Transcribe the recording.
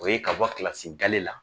O ye ka bɔ kilasi gale la